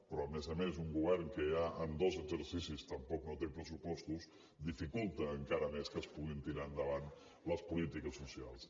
però a més a més un govern que ja en dos exercicis tampoc no té pressupostos dificulta encara més que es puguin tirar endavant les polítiques socials